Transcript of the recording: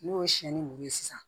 N'o ye sɛnɛni muru ye sisan